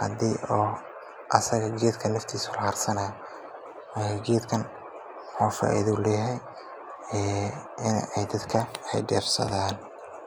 hadii asaga naftiisa la deefsanaayo.